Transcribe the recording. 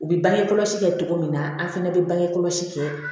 U bɛ bange kɔlɔsi kɛ cogo min na an fana bɛ bange kɔlɔsi kɛ